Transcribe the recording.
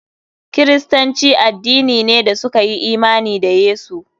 Kiristanci addini ne da suka yi imani da Yesu.